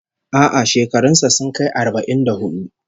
A'a, shekarun sa sun kai arba'in da hudu